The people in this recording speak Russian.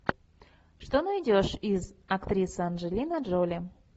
что найдешь из актриса анджелина джоли